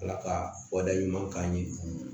Ala ka waleya ɲuman k'an ye